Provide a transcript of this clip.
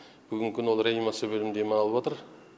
бүгінгі күні ол реанимация бөлімінде ем алып жатыр